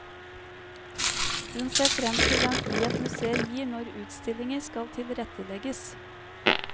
Hun ser frem til den frihet museet gir når utstillinger skal tilrettelegges.